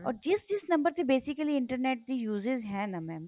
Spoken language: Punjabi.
or ਜਿਸ ਜਿਸ ਨੰਬਰ ਤੇ basically internet ਦੀ uses ਹੈ ਨਾ mam